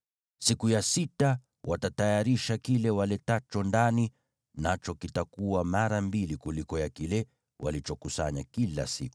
Siku ya sita watatayarisha kile waletacho ndani, nacho kitakuwa mara mbili kuliko ya kile walichokusanya kila siku.”